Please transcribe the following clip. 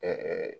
Ɛɛ